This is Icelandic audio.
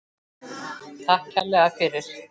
Takk kærlega fyrir.